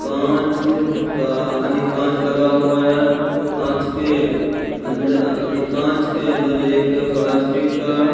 कांच का अने कांच लगा हुआ है कांच के अंद अ ए कांच के अंदर एक प्लास्टिक का --